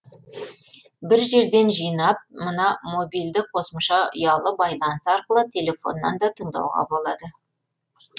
бір жерден жинап мына мобильді қосымша ұялы байланыс арқылы телефоннан да тыңдауға болады